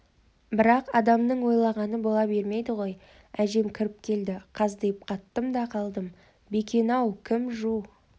бірақ адамның ойлағаны бола бермейді ғой әжем кіріп келді қаздиып қаттым да қалдым бекен-ау кім жу